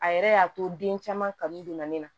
A yɛrɛ y'a to den caman kan donna ne na